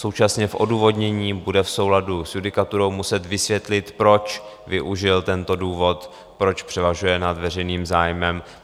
Současně v odůvodnění bude v souladu s judikaturou muset vysvětlit, proč využil tento důvod, proč převažuje nad veřejným zájmem.